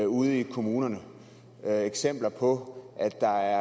ude i kommunerne eksempler på at der